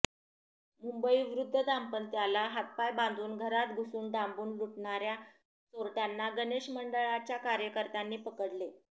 मुंबई वृद्ध दांपत्याला हातपाय बांधून घरात घुसून डांबून लुटणाऱ्या चोरट्यांना गणेश मंडळाच्या कार्यकर्त्यांनी पकडले